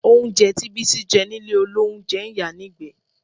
Oúnjẹ tí Bísí jẹ nílé olóúnjẹ ń yàá nígbẹ̀ẹ́